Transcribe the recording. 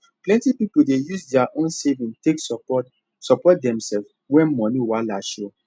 plenty people dey use their own savings take support support themselves when money wahala show